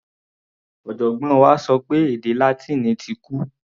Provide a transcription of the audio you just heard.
Ọ̀jọ̀gbọ́n wa sọ pé èdè Látíìnì ti kú.